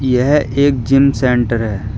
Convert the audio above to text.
यह एक gym centre है।